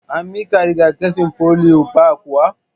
An miki riga-kafi polio ba kuwa?